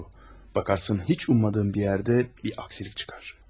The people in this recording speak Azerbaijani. Baxarsan heç ummadığın bir yerdə bir əngəl çıxar.